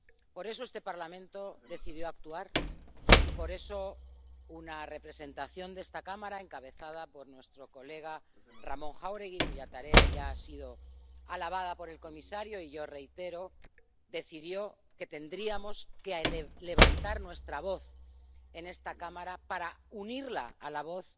Por eso, este Parlamento decidió actuar y por eso una representación de esta Cámara, encabezada por nuestro compañero Ramón Jáuregui —cuya tarea ya ha sido alabada por el comisario y yo reitero— decidió que tendríamos que levantar nuestra voz en esta Cámara para unirla a la voz